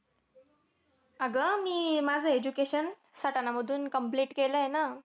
अगं, मी माझं education सटाणा मधून complete केलंय ना.